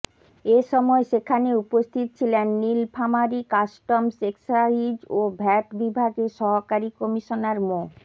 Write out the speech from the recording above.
এ সময় সেখানে উপস্থিত ছিলেন নীলফামারী কাস্টমস এক্সাইজ ও ভ্যাট বিভাগের সহকারী কমিশনার মো